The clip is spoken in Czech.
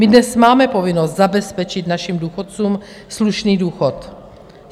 My dnes máme povinnost zabezpečit našim důchodcům slušný důchod.